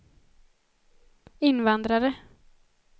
invandrare